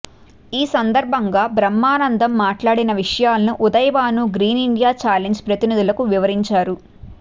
ఈ సందర్భంగా బ్రహ్మానందం మాట్లాడిన విషయాలను ఉదయభాను గ్రీన్ ఇండియా ఛాలెంజ్ ప్రతినిధులకు వివరించారు